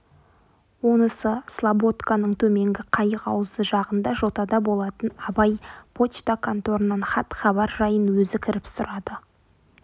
онысы слободканың төменгі қайық аузы жағында жотада болатын абай почта конторынан хат-хабар жайын өзі кіріп сұрады